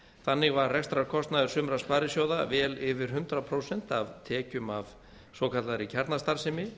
þannig var rekstrarkostnaður sumra sparisjóða vel yfir hundrað prósent af tekjum af svokallaðri kjarnastarfsemi